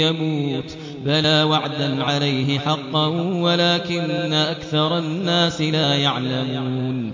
يَمُوتُ ۚ بَلَىٰ وَعْدًا عَلَيْهِ حَقًّا وَلَٰكِنَّ أَكْثَرَ النَّاسِ لَا يَعْلَمُونَ